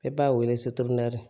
E b'a wele